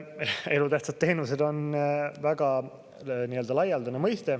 Elutähtsad teenused on väga laialdane mõiste.